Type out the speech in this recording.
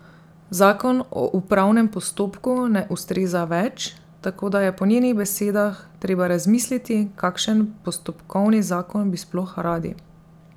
Zakon o upravnem postopku ne ustreza več, tako da je po njenih besedah treba razmisliti, kakšen postopkovni zakon bi sploh radi.